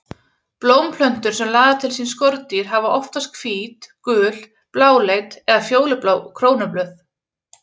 Blómplöntur sem laða til sín skordýr hafa oftast hvít, gul, bláleit eða fjólublá krónublöð.